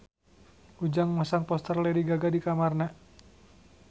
Ujang masang poster Lady Gaga di kamarna